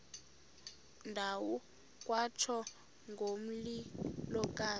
ndawo kwatsho ngomlilokazi